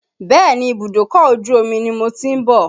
Bẹ́ẹ̀ni, ibùdókọ̀ ojú omi ni mo ti ń bọ̀.